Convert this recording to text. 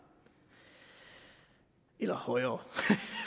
eller højere